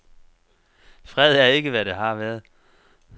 Fred er ikke, hvad det har været.